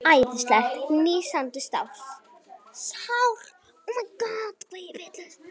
Æðislega nístandi sárt.